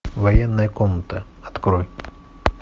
военная комната открой